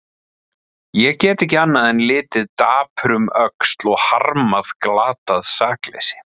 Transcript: Ég get ekki annað en litið dapur um öxl og harmað glatað sakleysi.